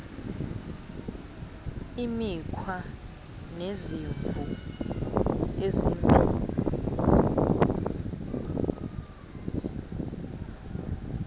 imikhwa nezimvo ezimbi